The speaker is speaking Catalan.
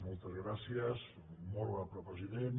moltes gràcies molt honorable president